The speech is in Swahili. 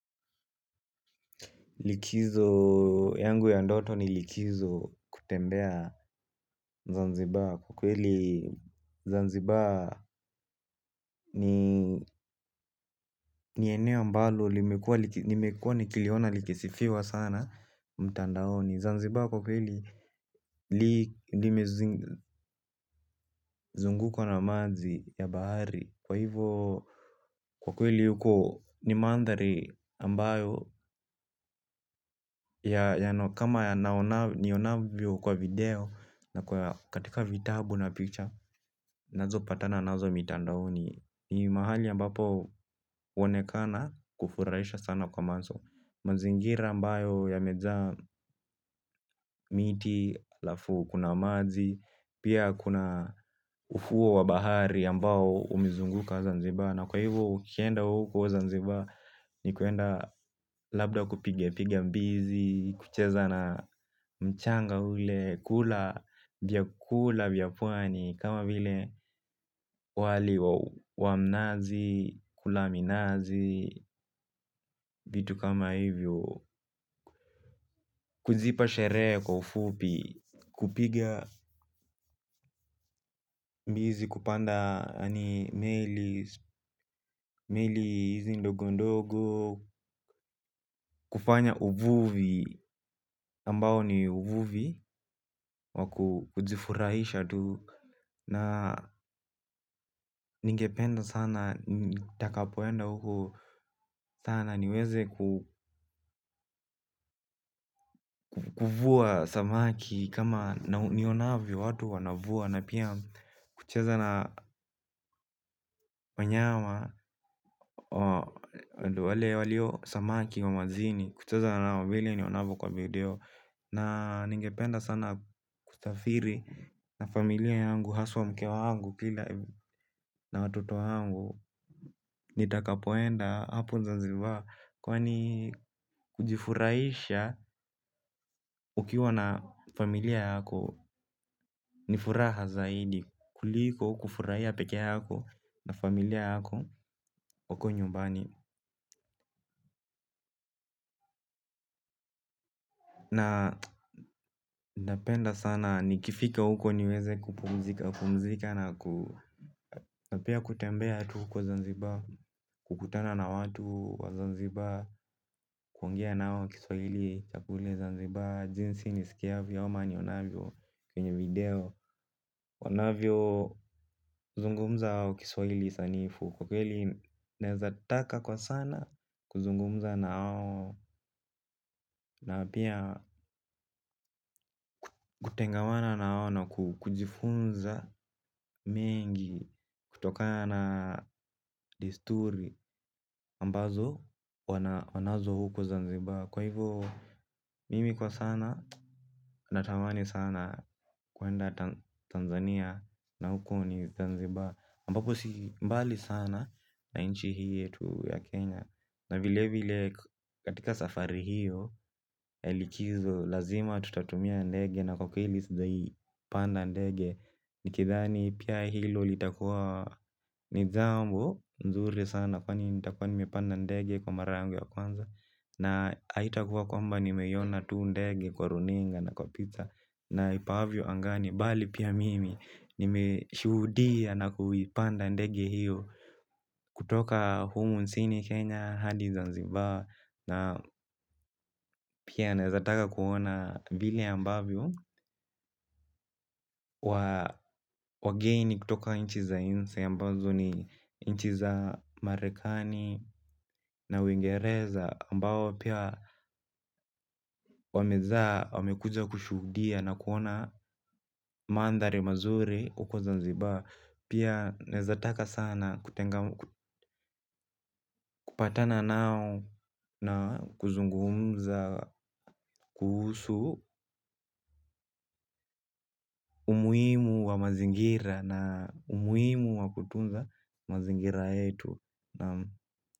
Likizo yangu ya ndoto ni likizo kutembea zanzibaa kwa kweli zanzibaa ni eneo ambalo nimekuwa ni kiliona likisifiwa sana mtandaoni. Zanzibar kwa kweli li nime zungukwa na maji ya bahari. Kwa hivyo kwa kweli huko ni mandhari ambayo kama ya nionavyo kwa video na katika vitabu na picture nazo patana nazo mitandaoni. Ni mahali ambapo onekana kufuraisha sana kwa manzo. Mazingira ambayo ya meza miti alafu kuna maji. Pia kuna ufuo wabahari ambao umezunguka zanziba. Na kwa hivyo ukienda huko zanziba. Ni kuenda labda kupiga mbizi. Kucheza na mchanga ule. Kula vyakula vyapwani kama vile wali wamnazi. Kula minazi. Vitu kama hivyo. Kuzipa shere kufupi. Kupiga mbizi kupanda ani meli. Meli hizi ndogo ndogo. Kufanya uvuvi ambao ni uvuvi wakujifurahisha tu na ninge penda sana taka poenda huko sana niweze kuvuwa samaki kama nionavyo watu wanavua napiakucheza na wanyama wale walio samaki wanyama kucheza vile nionavyo kwa video. Na ningependa sana kusafiri na familia yangu, haswa mkewa yangu, kila na watuto yangu. Nitakapoenda hapo zanziba. Kwa ni kujifuraisha ukiwa na familia yako nifuraha zaidi kuliko kufurahia peke yako na familia yako wako nyumbani. Na ningependa sana nikifika uko niweze kupumzika na kutembea tu kwa zanziba. Kukutana na watu wa Zanzibar kuongea nao kiswahil cha kule zanziba jinsi nisikiavyo ama nionavyo kwenye video wanavyozungumza wao kiswahili sanifu kwa kweli naweza taka kwa sana kuzungumza nawao na apia kutengawana nawao. Na kujifunza mengi. Kutoka na desturi ambazo wanazo huko Zanzibar. Kwa hivyo mimi kwa sana na tamani sana kwenda Tanzania na huko ni zanziba ambapo si mbali sana na inchi hii yetu ya Kenya. Na vile vile katika safari hiyo elikizo lazima tutatumia ndege na kukili sijawa ipanda ndege. Nikidhani pia hilo litakuwa nijambo nzuri sana kwa ni nitakuwa nimepanda ndege kwa mara yangu ya kwanza. Na haitakuwa kwamba ni meyona tu ndege kwa runinga na kwa pizza. Na ipavyo angani, bali pia mimi nimeshuhudia na kuipanda ndege hiyo. Kutoka humu nchini Kenya, Hadi Zanzibar. Na pia nawezataka kuona vile ambavyo wageini kutoka inchi za inje ambazo ni inchi za marekani na uingereza ambapo pia wamekuja kushudia na kuona mandhari mazuri huku zanziba pia naweza taka sana kupatana nao na kuzungumza kuhusu umuhimu wa mazingira na umuhimu wa kutunza mazingira yetu.